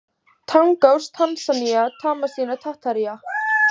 Tangás, Tansanía, Tasmanía, Tataría